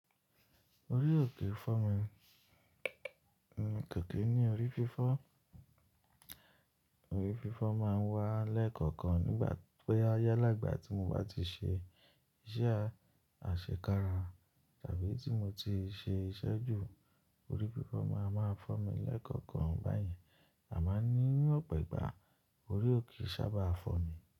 Orí ò kí ń fọ́ mi. Kẹ̀kẹ́ ní orí fífọ́, orí fífọ́ máa ń wá lẹ́ẹ̀kọ̀kan nígbà pé ayálàgbà tí mo bá ti ṣe iṣẹ́ àṣekára tàbí tí mo ti ṣe iṣẹ́ jù, orí fífọ́ máa máa fọ́ mi lẹ́ẹ̀kọ̀kan báyẹn, àmá ni ní ọ̀pọ̀ ìgbà orí ò kì sábà fọ́ mi.